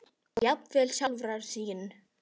og jafnvel sjálfra sín.